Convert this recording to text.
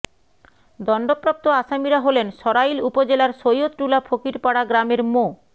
দণ্ডপ্রাপ্ত আসামিরা হলেন সরাইল উপজেলার সৈয়দটুলা ফকিরপাড়া গ্রামের মো